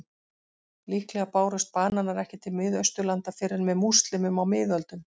Líklega bárust bananar ekki til Miðausturlanda fyrr en með múslímum á miðöldum.